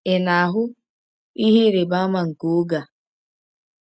Ị̀ na-ahụ “ihe ịrịba ama nke oge a”?